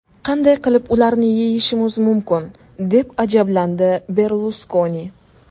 Qanday qilib ularni yeyishimiz mumkin?”, deb ajablandi Berluskoni.